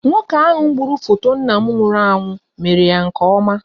Nwoke ahụ gburu foto nna m nwụrụ anwụ mere ya nke ọma.